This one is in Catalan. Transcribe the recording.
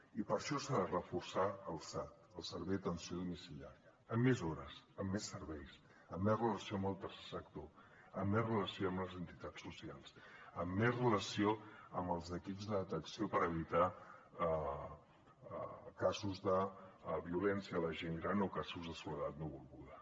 i per això s’ha de reforçar el sad el servei atenció domiciliària amb més hores amb més serveis amb més relació amb el tercer sector amb més relació amb les entitats socials amb més relació amb els equips de detecció per evitar casos de violència a la gent gran o casos de soledat no volguda